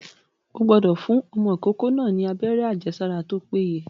Ó gbúdọ̀ fún ọmọ tuntun náà ni abẹ́rẹ́ àjẹsára tó péye.